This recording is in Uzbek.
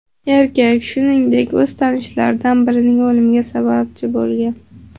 Erkak, shuningdek, o‘z tanishlaridan birining o‘limiga sababchi bo‘lgan.